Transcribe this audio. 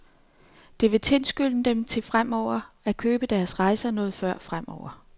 Det vil tilskynde dem til at købe deres rejser noget før fremover.